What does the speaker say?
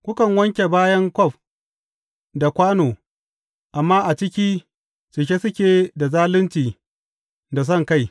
Kukan wanke bayan kwaf da kwano, amma a ciki, cike suke da zalunci da sonkai.